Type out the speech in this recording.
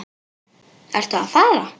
Ertu að fara?